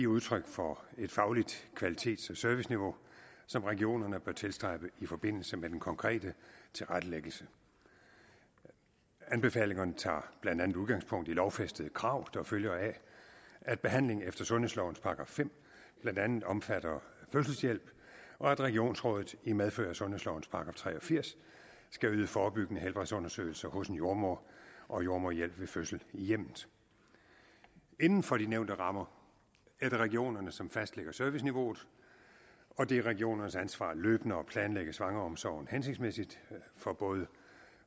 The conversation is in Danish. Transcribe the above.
udtryk for et fagligt kvalitets og serviceniveau som regionerne bør tilstræbe i forbindelse med den konkrete tilrettelæggelse anbefalingerne tager blandt andet udgangspunkt i lovfæstede krav der følger af at behandling efter sundhedslovens § fem blandt andet omfatter fødselshjælp og at regionsrådet i medfør af sundhedslovens § tre og firs skal yde forebyggende helbredsundersøgelser hos en jordemoder og jordemoderhjælp ved fødsel i hjemmet inden for de nævnte rammer er det regionerne som fastlægger serviceniveauet og det er regionernes ansvar løbende at planlægge svangreomsorgen hensigtsmæssigt for både